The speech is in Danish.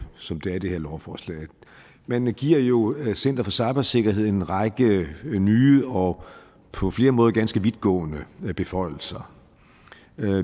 som det er i det her lovforslag man giver jo center for cybersikkerhed en række nye og på flere måder ganske vidtgående beføjelser